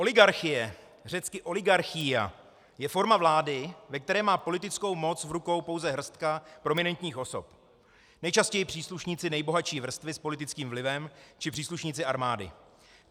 Oligarchie, řecky oligarchía, je forma vlády, ve které má politickou moc v rukou pouze hrstka prominentních osob, nejčastěji příslušníci nejbohatší vrstvy s politickým vlivem či příslušníci armády.